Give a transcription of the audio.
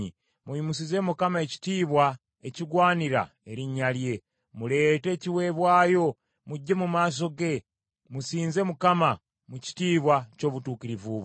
Muyimusize Mukama ekitiibwa ekigwanira erinnya lye; muleete ekiweebwayo, mujje mu maaso ge; musinze Mukama mu kitiibwa ky’obutukuvu bwe.